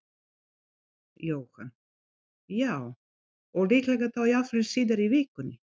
Jóhann: Já, og líklega þá jafnvel síðar í vikunni?